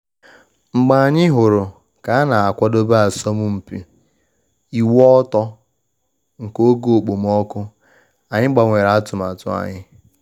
Mgbe anyị hụrụ ka a na akwadebe asọmpi ịwụ ọtọ nke oge okpomọkụ, anyị gbanwere atụmatụ anyị